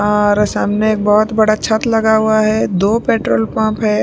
औऔर सामने एक बहुत बड़ा छत लगा हुआ है दो पेट्रोल पंप है।